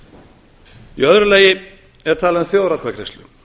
í öðru lagi er talað um þjóðaratkvæðagreiðslu